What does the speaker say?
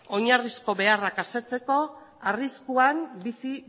oinarrizko beharrak asetzeko arriskuan bizi